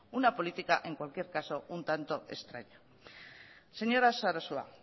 una política en cualquier caso un tanto extraña señora sarasua